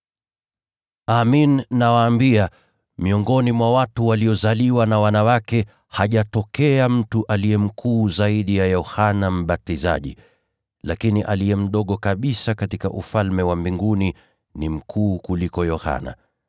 Amin, nawaambia, miongoni mwa wale waliozaliwa na wanawake, hajatokea mtu aliye mkuu kuliko Yohana Mbatizaji. Lakini aliye mdogo kabisa katika Ufalme wa Mbinguni ni mkuu kuliko Yohana.